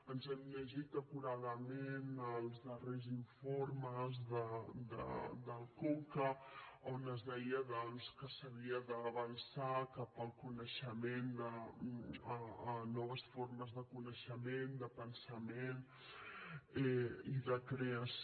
ens hem llegit acuradament els darrers informes del conca a on es deia doncs que s’havia d’avançar cap el coneixement de noves formes de coneixement de pensament i de creació